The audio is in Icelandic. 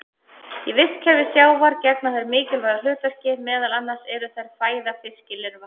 Í vistkerfi sjávar gegna þær mikilvægu hlutverki, meðal annars eru þær fæða fiskilirfa.